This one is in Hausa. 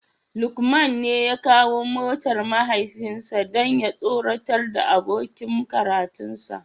Lukman ne ya kawo motar mahaifinsa don ya tsoratar da abokin karatunsa